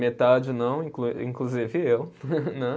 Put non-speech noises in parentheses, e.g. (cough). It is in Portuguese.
Metade não, inclu, inclusive eu. (laughs) (unintelligible)